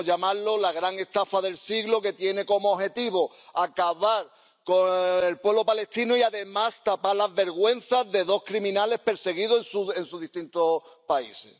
Podríamos llamarlo la gran estafa del siglo, que tiene como objetivo acabar con el pueblo palestino y, además, tapar las vergüenzas de dos criminales perseguidos en sus distintos países.